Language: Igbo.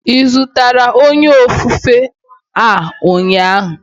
Ị zụtara onye ofufe a ụnyaahụ?